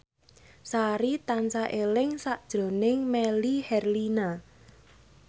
Sari tansah eling sakjroning Melly Herlina